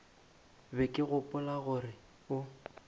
be ke gopola gore o